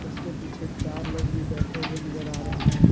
उसके पीछे चार लोग भी बैठे हुए नजर आ रहे हैं।